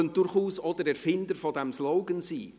Er könnte durchaus auch der Erfinder dieses Slogans sein.